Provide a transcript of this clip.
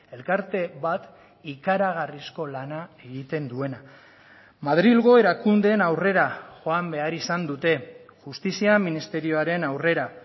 elkarte bat ikaragarrizko lana egiten duena madrilgo erakundeen aurrera joan behar izan dute justizia ministerioaren aurrera